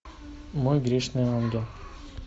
мой грешный ангел